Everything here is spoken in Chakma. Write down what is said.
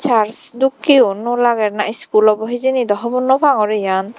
parch dokkeyo no lager na skul obo hejini do hobor no pangor iyan.